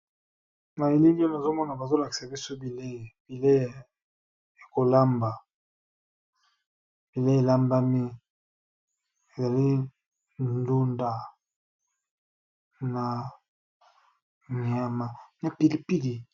Na elili oyo nazomona bazolakisa biso bile, bilei yakolamba, bilei elambami ezali ndunda na myama napilipidi.